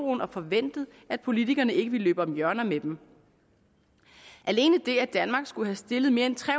og forventet at politikerne ikke ville løbe om hjørner med dem alene det at danmark skulle have stillet mere end tre